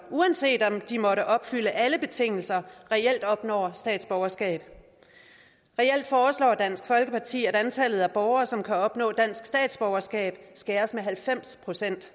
uanset om de måtte opfylde alle betingelser reelt opnår statsborgerskab reelt foreslår dansk folkeparti at antallet af borgere som kan opnå dansk statsborgerskab skæres med halvfems procent